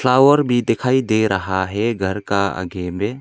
Tower भी दिखाई दे रहा है घर का आगे में।